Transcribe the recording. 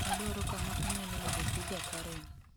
Adwaro kama anyalo yudo piza karen